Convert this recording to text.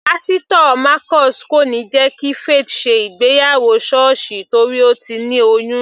Pásítò Marcus kò níí jẹ́ kí Faith ṣe ìgbéyàwó sọ́ọ̀sì torí Ó ti ní oyún.